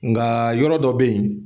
Nkaa yɔrɔ dɔ be ye